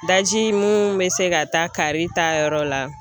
Daji mun bɛ se ka taa kaari ta yɔrɔ la